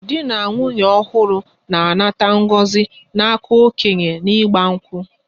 Dị na nwụnye ọhuru na-anata ngọzi n'aka okenye na igba nkwu